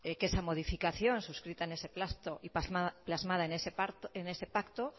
que esa modificación suscrita en ese pacto y plasmada en ese pacto